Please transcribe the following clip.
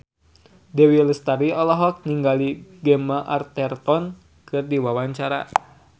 Dewi Lestari olohok ningali Gemma Arterton keur diwawancara